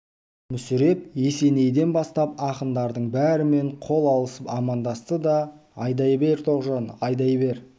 мүсіреп есенейден бастап ақындардың бәрімен қол алысып амандасты да айдай бер тоғжан айдай бер